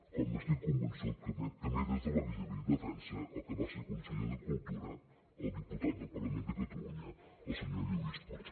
com estic convençut que també des de l’exili defensa el que va ser conseller de cultura el diputat del parlament de catalunya el senyor lluís puig